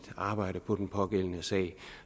arbejde på den pågældende sag